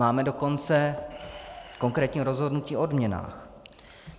Máme dokonce konkrétní rozhodnutí o odměnách.